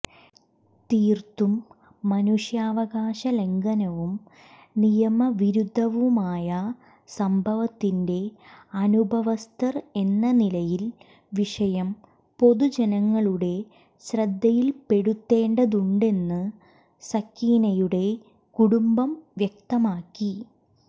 തീർത്തും മനുഷ്യാവകാശ ലംഘനവും നിയമവിരുദ്ധവുമായ സംഭവത്തിന്റെ അനുഭവസ്ഥർ എന്ന നിലയിൽ വിഷയം പൊതുജനങ്ങളുടെ ശ്രദ്ധയിൽപ്പെടുത്തേണ്ടതുണ്ടെന്ന് സക്കീനയുടെ കുടുംബം വ്യക്തമാക്കി